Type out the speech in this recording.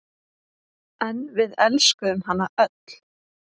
En við elskuðum hana öll.